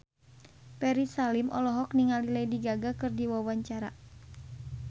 Ferry Salim olohok ningali Lady Gaga keur diwawancara